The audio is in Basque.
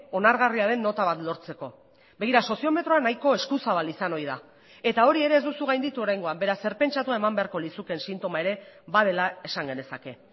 onargarria den nota bat lortzeko begira soziometroa nahiko eskuzabal izan ohi da eta hori ere ez duzu gainditu oraingoan beraz zer pentsatua eman beharko lizukeen sintoma ere badela esan genezake